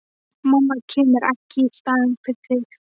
Mamma kemur ekki í staðinn fyrir þig.